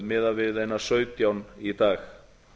miðað við einar sautján í dag